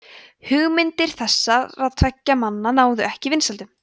hugmyndir þessara tveggja manna náðu ekki vinsældum